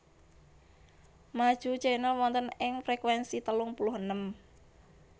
Maju Channel wonten ing frekuensi telung puluh enem